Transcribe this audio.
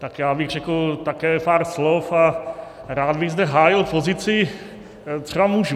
Tak já bych řekl také pár slov a rád bych zde hájil pozici třeba mužů.